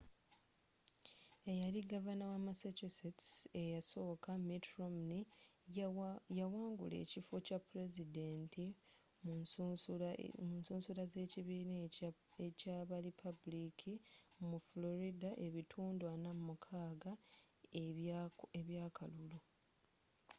eyali gavana wa massachusetts ekyasooka mitt romney yawangula ekifo ekya pulezidenti mu nsusula z'ekibiina ekya ba lipaabuliki mu florida n'ebitundu 46 eby'akalulu